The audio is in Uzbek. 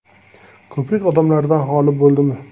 Ko‘prik odamlardan xoli bo‘ldimi?